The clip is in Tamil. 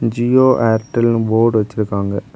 ஜியோ ஏர்டெல் போர்ட் வெச்சிருக்காங்க.